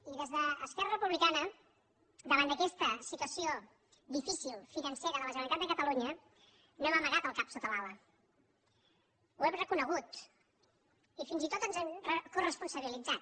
i des d’esquerra republicana davant d’aquesta situació difícil financera de la generalitat de catalunya no hem amagat el cap sota l’ala ho hem reconegut i fins i tot ens n’hem coresponsabilitzat